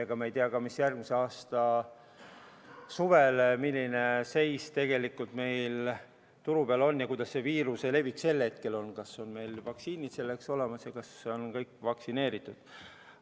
Ega me ei tea sedagi, mis seis on järgmise aasta suvel – milline seis on tegelikult turu peal ja kuidas viiruse levikuga sel hetkel on, kas meil on vaktsiinid olemas, kas kõik on vaktsineeritud jne.